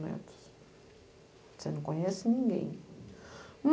metros. Você não conhece ninguém.